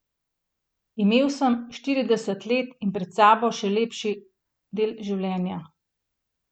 Imel sem štirideset let in pred sabo še lep del življenja.